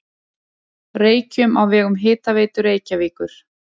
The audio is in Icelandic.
Reykjum á vegum Hitaveitu Reykjavíkur.